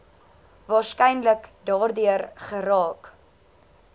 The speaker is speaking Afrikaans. waarskynlik daardeur geraak